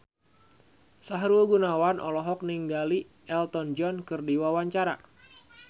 Sahrul Gunawan olohok ningali Elton John keur diwawancara